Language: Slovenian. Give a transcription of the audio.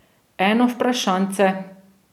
Eno vprašanjce...